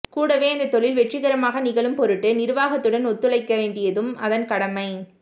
கூடவே அந்தத் தொழில் வெற்றிகரமாக நிகழும்பொருட்டு நிர்வாகத்துடன் ஒத்துழைக்கவேண்டியதும் அதன் கடமை